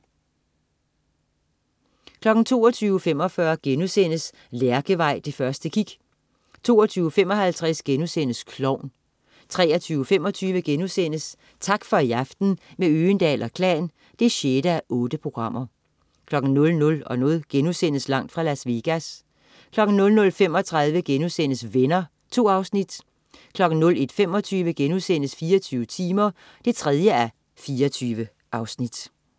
22.45 Lærkevej, det første kig* 22.55 Klovn* 23.25 Tak for i aften, med Øgendahl & Klan 6:8* 00.00 Langt fra Las Vegas* 00.35 Venner.* 2 afsnit 01.25 24 timer 3:24*